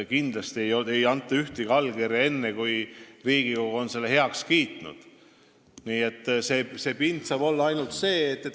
Kindlasti ei anta ühtegi allkirja enne, kui Riigikogu on selle otsuse heaks kiitnud.